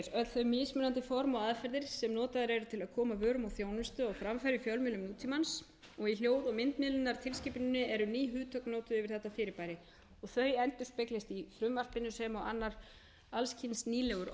þau mismunandi form og aðferðir sem notaðar eru til að koma vörum og þjónustu á framfæri í fjölmiðlum nútímans og í hljóð og myndmiðlunartilskipuninni eru ný hugtök notuð yfir þetta fyrirbæri og þau endurspeglast í frumvarpinu sem og annar alls kyns nýlegur orðaforði á borð við